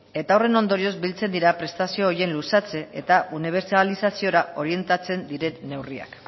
eta horren ondorioz biltzen dira prestazio horiek luzatze eta unibertsalizaziora orientatzen diren neurriak